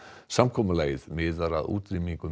samkomulagið miðar að útrýmingu